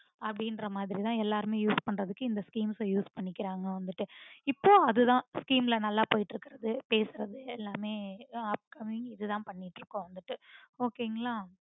அப்டீன்ற மாதிரி தான் எல்லாருமே use பண்றதுக்கு இந்த schemes அ use பன்னிக்கிறாங்க வந்துட்டு, இப்போ அதுதான் scheme ல நல்லா போயிட்டுருக்குறது பேசுறது எல்லாமே upcoming பன்னிட்டுருக்கோம் வந்துட்டு okay ங்களா?